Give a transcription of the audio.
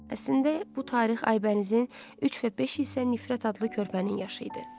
Əslində bu tarix Aybənizin üç və beş isə nifrət adlı körpənin yaşı idi.